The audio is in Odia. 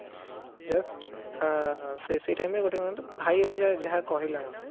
just ଅ ସେଇ time ରେ ଗୋଟେ କଣ ତ ଭାଇ ଯାହା କହିଲା ମୋତେ